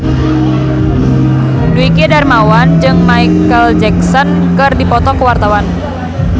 Dwiki Darmawan jeung Micheal Jackson keur dipoto ku wartawan